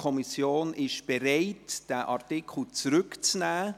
Die Kommission ist bereit, diesen Artikel zurückzunehmen.